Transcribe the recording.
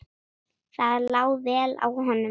Það lá vel á honum.